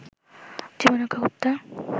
জীবন রক্ষা করতে